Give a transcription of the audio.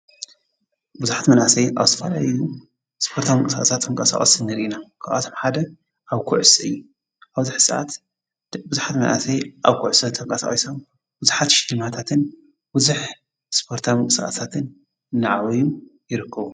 ብዙኃት መናእሰይ ኣው ስራልያ እዩ ስጶርታም ቅሳእሳት ኣምቃሳዖት ስንር ኢና ክዋቶም ሓደ ኣብ ኲዑይ ኣብዙኅ ዓት ብዙኃት መናእሰይ ኣብ ኰዕሰ ተምቀሠዊሶም ብዙኃት ሽማታትን ውዙኅ ስጶርታምቅሰእታትን እነዓወዩም ይርከቡ።